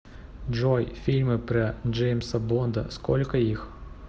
джой фильмы про джеимса бонда сколько их